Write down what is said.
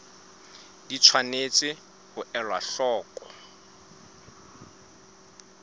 di tshwanetse ho elwa hloko